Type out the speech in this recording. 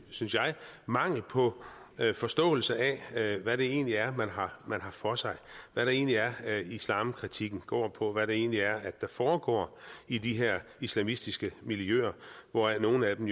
mangel på forståelse af hvad det egentlig er man har for sig hvad det egentlig er islamkritikken går på hvad det egentlig er der foregår i de her islamistiske miljøer hvoraf nogle af dem